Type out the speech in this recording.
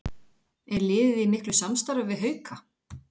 Er liðið í miklu samstarfi við Hauka?